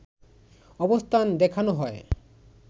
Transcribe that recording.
অবস্থান দেখানো হয়